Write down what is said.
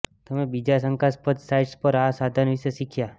તમે બીજા શંકાસ્પદ સાઇટ્સ પર આ સાધન વિશે શીખ્યા